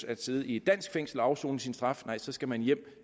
at sidde i et dansk fængsel og afsone sin straf nej så skal man hjem